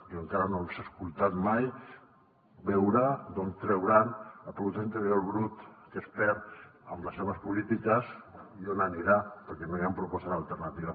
jo encara no els he escoltat mai veure d’on trauran el producte interior brut que es perd amb les seves polítiques i on anirà perquè no hi han propostes alternatives